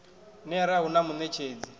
ner a hu na muṋetshedzi